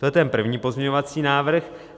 To je ten první pozměňovací návrh.